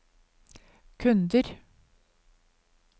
kunder